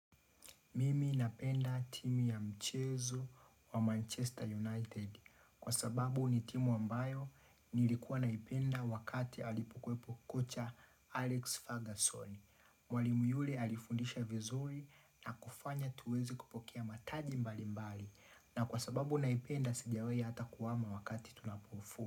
Mimi napenda timu ya mchezo wa Manchester United kwa sababu ni timu ambayo nilikuwa naipenda wakati alipokwepo kocha Alex Fagason. Mwalimu yule alifundisha vizuri na kufanya tuweze kupokea mataji mbali mbali na kwa sababu naipenda sijawai ata kuhama wakati tunapofu.